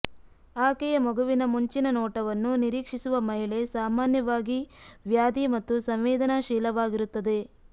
ಆಕೆಯ ಮಗುವಿನ ಮುಂಚಿನ ನೋಟವನ್ನು ನಿರೀಕ್ಷಿಸುವ ಮಹಿಳೆ ಸಾಮಾನ್ಯವಾಗಿ ವ್ಯಾಧಿ ಮತ್ತು ಸಂವೇದನಾಶೀಲವಾಗಿರುತ್ತದೆ